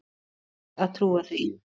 Ég kýs að trúa því.